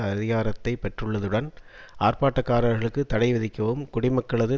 அதிகாரத்தை பெற்றுள்ளதுடன் ஆர்ப்பாட்டக்காரர்களுக்கு தடைவிதிக்கவும் குடிமக்களது